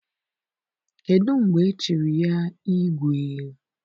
Kedụ mgbe e chiri ya gị igwe?